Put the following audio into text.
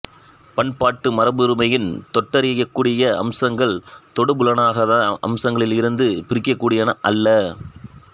பண்பாட்டு மரபுரிமையின் தொட்டறியக்கூடிய அம்சங்கள் தொடுபுலனாகாத அம்சங்களில் இருந்து பிரிக்கக்கூடியன அல்ல